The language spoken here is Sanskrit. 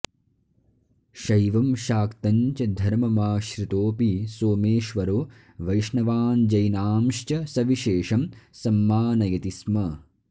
शैवं शाक्तं च धर्ममाश्रितोऽपि सोमेश्वरो वैष्णवाञ्जैनांश्च सविशेषं संमानयति स्म